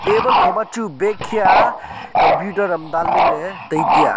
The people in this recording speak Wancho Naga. table kho ma chu bag hiya computer am dan ley ley tai tiya.